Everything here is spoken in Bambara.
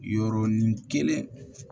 Yɔrɔnin kelen